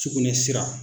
Sugunɛ sira